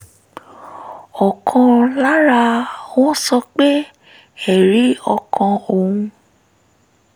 ọ̀kan lára wọn sọ pé ẹ̀rí ọkàn òun